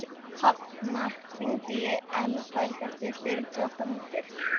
Hafnar, hringdu í Elberg eftir fjörutíu og átta mínútur.